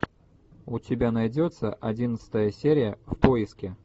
у тебя найдется одиннадцатая серия в поиске